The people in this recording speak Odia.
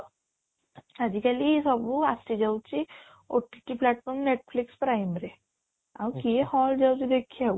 ଆଜି କାଲି ସବୁ ଆସି ଯାଉଛି OTT platform, Netflix, prime ରେ ଆଉ କିଏ hall ଯାଉଛି ଦେଖିବାକୁ